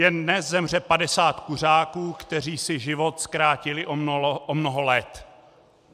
Jen dnes zemře 50 kuřáků, kteří si život zkrátili o mnoho let.